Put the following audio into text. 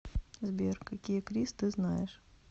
сбер какие крис ты знаешь